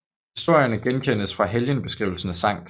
Historierne genkendes fra helgenbeskrivelserne af Skt